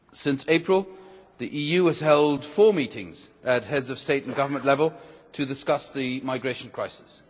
Since April, the EU has held four meetings at Heads of State and Government level to discuss the migration crisis.